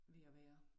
Ved at være